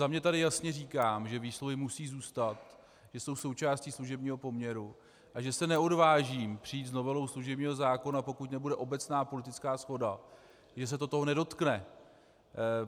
Za sebe tady jasně říkám, že výsluhy musí zůstat, že jsou součástí služebního poměru a že se neodvážím přijít s novelou služebního zákona, pokud nebude obecná politická shoda, že se to toho nedotkne.